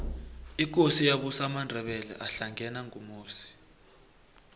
ikosi eyabusa amandebele ahlangena ngumusi